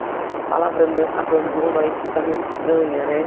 A palavra abandono aí fica meio estranha, né?